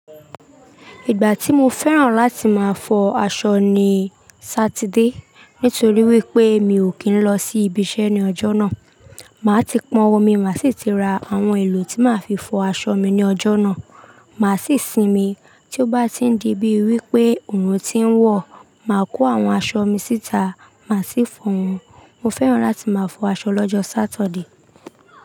Ìgbà tí mo fẹ́ràn láti máa fọ aṣọ ni Sátidé nítorí wípé mi ò kí ń lọ sí ibi iṣẹ́ ní ọjọ́ náà. Màá ti pọn omi, màá sì ti ra àwọn èlò tí máa fi fọ aṣọ mi ní ọjọ́ náà. Màá sì sinmi. Tí ó bá ti ń di bíi wípé oòrùn ti ń wọ̀, màá kó àwọn aṣọ mi síta, màá sì fọ̀ wọn. Mo fẹ́ràn láti máa fọ aṣọ lọ́jọ́ Saturday.